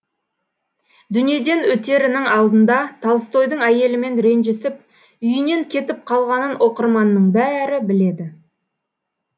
дүниеден өтерінің алдында толстойдың әйелімен ренжісіп үйінен кетіп қалғанын оқырманның бәрі біледі